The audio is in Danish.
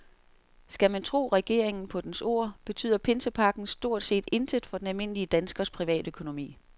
Skal man tro regeringen på dens ord, betyder pinsepakken stort set intet for den almindelige danskers privatøkonomi.